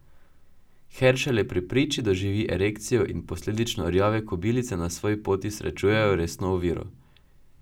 Heršele pri priči doživi erekcijo in posledično rjave kobilice na svoji poti srečujejo resno oviro.